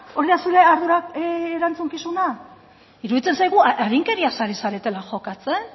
hori da zure ardura erantzukizuna iruditzen zaigu arinkeriaz ari zaretela jokatzen